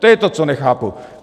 To je to, co nechápu.